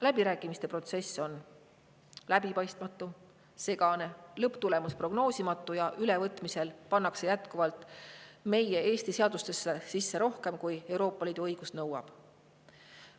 Läbirääkimiste protsess on läbipaistmatu, segane, lõpptulemus prognoosimatu ja ülevõtmisel pannakse jätkuvalt meie Eesti seadustesse sisse rohkem, kui Euroopa Liidu õigus nõuab.